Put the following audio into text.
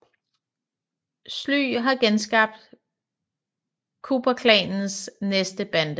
Sly har genskabt Cooperklanens næste bande